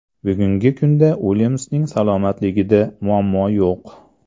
Bugungi kunda Uilyamsning salomatligida muammo yo‘q.